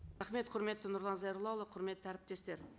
құрметті нұрлан зайроллаұлы құрметті әріптестер